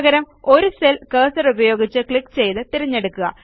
പകരം ഒരു സെൽ കേഴ്സറുപയോഗിച്ച് ക്ലിക്ക് ചെയ്ത് തിരഞ്ഞെടുക്കുക